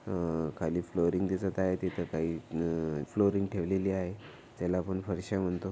आ खाली फ्लोरिंग दिसत आहे तिथ काही फ्लोरिंग ठेवलेली आहै त्याला आपण फरश्या म्हणतो.